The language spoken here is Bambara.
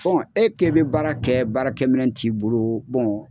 Fɔlɔ e kɛ bɛ baara kɛ baarakɛ minɛ t'i bolo